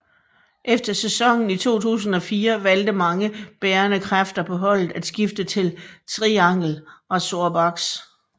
Efter sæsonen i 2004 valgte mange bærende kræfter på holdet at skifte til Triangle Razorbacks